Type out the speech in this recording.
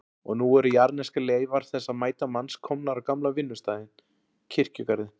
Og nú eru jarðneskar leifar þessa mæta manns komnar á gamla vinnustaðinn, kirkjugarðinn.